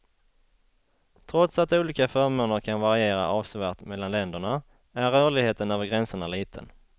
Trots att olika förmåner kan variera avsevärt mellan länderna, är rörligheten över gränserna liten.